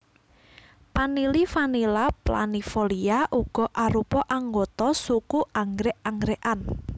Panili Vanilla planifolia uga arupa anggota suku anggrèk anggrèkan